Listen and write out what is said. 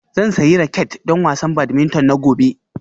Zan sayi raket don wasan badminton na gobe